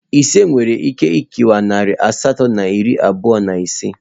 Ise nwere ike kewaa nari asatọ na iri abụọ na ise.